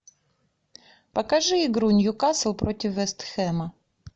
покажи игру ньюкасл против вест хэма